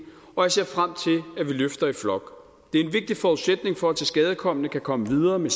og jeg ser frem til at vi løfter i flok det er en vigtig forudsætning for at tilskadekomne kan komme videre med